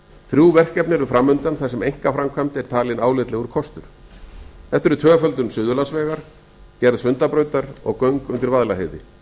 þrjú verkefni eru fram undan að sem einkaframkvæmd er talin álitlegur kostur þetta eru tvöföldun suðurlandsvegar gerð sundabrautar og göng undir vaðlaheiði